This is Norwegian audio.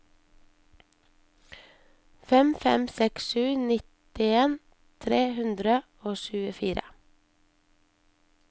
fem fem seks sju nittien tre hundre og tjuefire